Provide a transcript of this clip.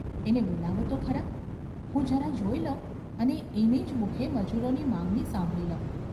‘એને બોલાવો તો ખરા ! હું જરા જોઈ લઉં અને એને જ મુખે મજૂરોની માંગણી સાંભળી લઉં.